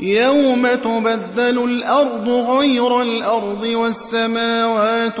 يَوْمَ تُبَدَّلُ الْأَرْضُ غَيْرَ الْأَرْضِ وَالسَّمَاوَاتُ ۖ